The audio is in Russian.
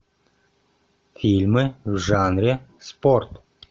фильмы в жанре спорт